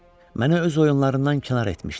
Məni öz oyunlarından kənar etmişdi.